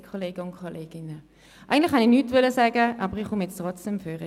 Eigentlich wollte ich nichts sagen, aber ich stehe jetzt trotzdem am Rednerpult.